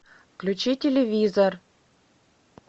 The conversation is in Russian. включи телевизор